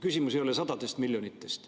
Küsimus ei ole sadades miljonites.